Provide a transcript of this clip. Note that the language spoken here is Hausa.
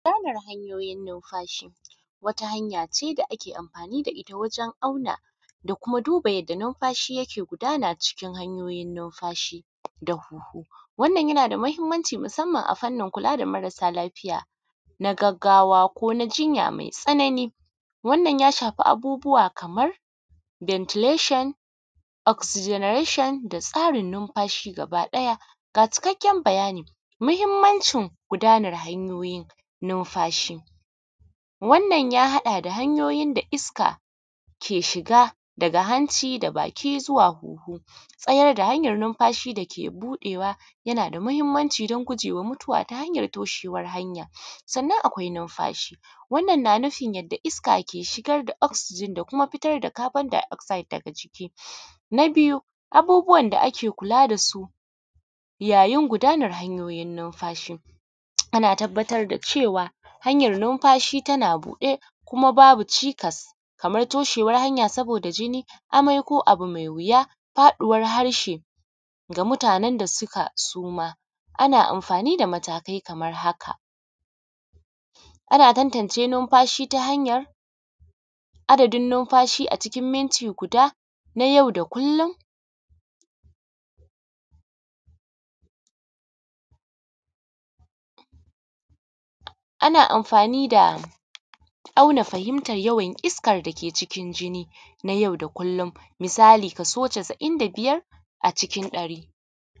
Nauyin numfashi wata hanyace da ake amfani da itta wajen auna da kuma duba yadda numfashi yake gudana cikin hanyoyin numfashi da kunhu. Wannan yanada matuƙar mahimmanci akan kula da marasa lafiya na gaggawa ko jinya mai tsana ni wannan ya shafi abubuwa kamar bentilashin, oziginarashin da tasrin numfashi gaba ɗaya. Ga cikakken bayanin mahimmancin gudanar hanyoyin numfashi, wannan ya haɗa da hanyoyin da iska ke shiga daga hanci da baki zuwa hunhu, tsayar da hanyan numfashinufin dake buɗewa yana da mahimmanci dan gujewa mutuwa ta hanyar toshewar hanyar sannan akwai numfashi. Wannan na nufin yadda iska ke shigar da oksijin da kuma fitar da kabon diogzid daga ciki. Na biyu abubuwan da ake kula da su yayin gudanar hanyoyin numfashi ana tabbatar da cewa hanyar numfashi tana buɗe, kuma babu cikas kamar toshewar hanya saboda jini, amai, ko abu mai yuwa faɗuwar harshe ga mutanen da suka suma, ana amfani da matakai kamar haka. Ana tantance numfashi ta hanyar adadin numfashi a cikin minti guda na yau da kullum, ana amfani auna fahimtar yawan iskan dake cikin jini na yau da kullum misali so casa’in da biyar a cikin ɗari.